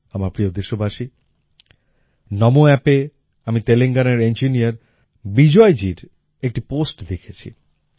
আমার প্রিয় দেশবাসী নামো Appএ আমি তেলেঙ্গানার ইঞ্জিনিয়ার বিজয় জীর একটি পোস্ট দেখেছি